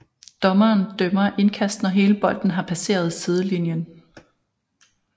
Dommeren dømmer indkast når hele bolden har passeret sidelinjen